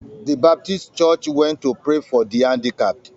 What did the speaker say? The baptist church went to pray for the handicapped.